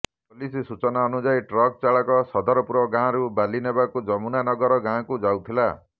police ସୂଚନା ଅନୁଯାୟୀ truck ଚାଳକ ସଦରପୁର ଗାଁରୁ ବାଲି ନେବାକୁ ଯମୁନାନଗର ଗାଁକୁ ଯାଉଥିଲା